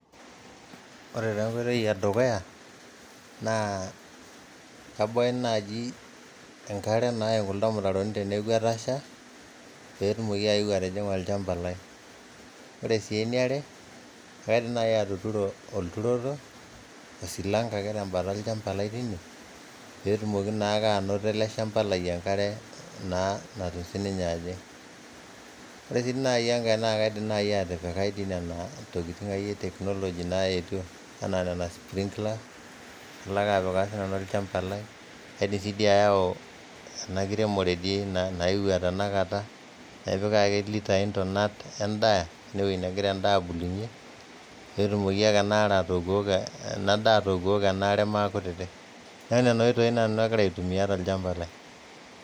Ore taa enkoito edukuyanaa kaiboo enaaji enkare naim kuldo irmitaroni teneaku etasha peetumoki aayeu etijing'a olchamba lai, ore sii eneare kaidim nai atuturo orturrot osilanka ake te mbata elchamba lai teine peetumoki naake anoto ale shamba lai enkare naa natum sii ninye aajing, ore sii nai enkae naa kaidim naii atipika dei nena tokitin e technology naetio anaa neena sprinkler nalo ake apikaa si nanu lelo chamba lai, aidim siia aayau ena kiremore dei naewuo tenakata naa ipik ake litaaii intunat endaa eneweji nagira indaa abulunye peetumoki ake enaare atookiokoko ena daa atook'oko enaare maa kutiti, naa nena oitoi aagira nanu aitumiya te lchamba lai.